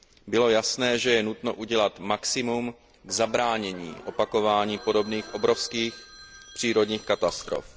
Bylo jasné, že je nutno udělat maximum k zabránění opakování podobných obrovských přírodních katastrof.